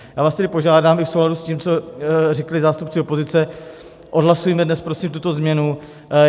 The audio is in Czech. Já vás tedy požádám i v souladu s tím, co řekli zástupci opozice, odhlasujme dnes prosím tuto změnu.